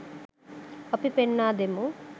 අපි පෙන්වා දෙමු